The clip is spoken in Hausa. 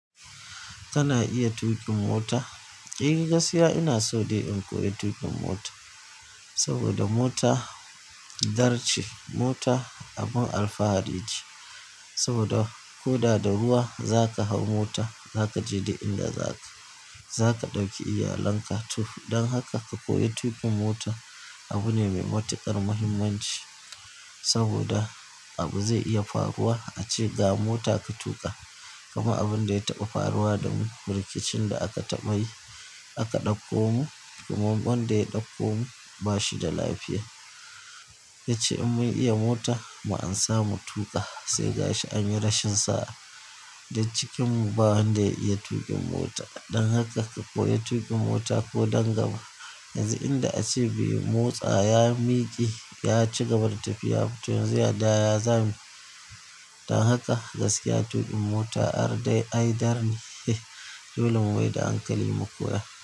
Kana iya tuƙin mota? Eh gaskiya ina so dai in koyi tuƙin mota. Saboda mota dar ce, mota abun alfahari ce. Saboda koda da ruwa zaka hau mota zaka je duk inda zaka. Zaka ɗauki iyalanka. To don haka ka koyi tuƙin mota abu ne mai matuƙar muhimmanci. Saboda abu zai iya faruwa ace ga mota ka tuƙa. Kamar abin da ya taɓa faruwa da mu, rikicin da aka taɓa yi aka ɗauko mu kuma wanda ya ɗauko mu ba shi da lafiya. Ya ce in mun iya mota mu amsa mu tuƙa sai gashi an yi rashin sa'a. Duk cikinmu ba wanda ya iya tuƙin mota. Don haka ka koyi tuƙin mota ko don gaba. Yanzu inda ace bai motsa ya miƙe ya ci gaban tafiya. To yanzu da ya zamu yi? Don haka gaskiya tuƙin mota ar dai ai dar ne dole mu maida hankali mu koya.